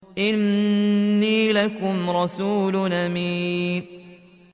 إِنِّي لَكُمْ رَسُولٌ أَمِينٌ